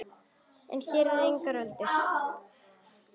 En hér eru engar öldur.